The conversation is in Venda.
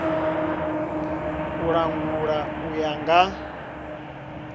u langula u ya nga